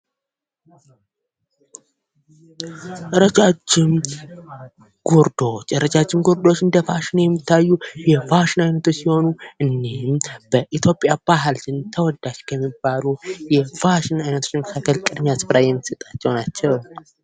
ረጃጅም ጉርዶች ። ረጃጅም ጉርዶች እንደ ፋሽን የሚታዩ የፋሽን አይነቶች ሲሆኑ እኒህም በኢትዮጵያ ባህል ዘንድ ተወዳጅ ከሚባሉ የፋሽን አይነቶች መካከል ቅድሚያ ስፍራ የሚሰጣቸው ናቸው ።